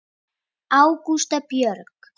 Ágústa Björg.